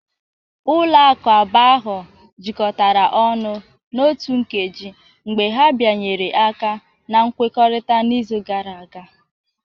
Ụlọ akụ abụọ ahụ jikọtara ọnụ n'otu nkeji mgbe ha bịanyere aka na nkwekọrịta n'izu gara aga